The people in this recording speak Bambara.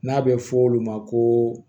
N'a bɛ fɔ olu ma ko